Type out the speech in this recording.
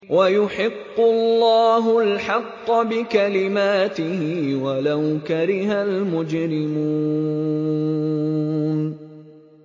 وَيُحِقُّ اللَّهُ الْحَقَّ بِكَلِمَاتِهِ وَلَوْ كَرِهَ الْمُجْرِمُونَ